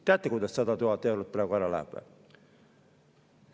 Teate, kuidas 100 000 eurot ära läheb?